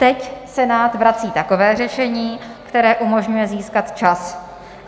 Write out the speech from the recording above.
Teď Senát vrací takové řešení, které umožňuje získat čas.